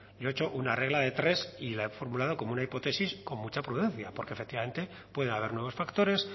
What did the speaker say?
yo he hecho una regla de tres y la he formulado como una hipótesis con mucha prudencia porque efectivamente puede haber nuevos factores